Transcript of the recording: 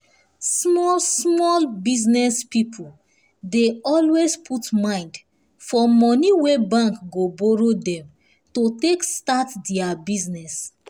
small small business people dey always put mind for money wey bank go borrow dem to take start their business